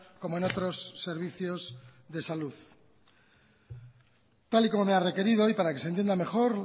como en otros servicios de salud tal y como me ha requerido y para que se entienda mejor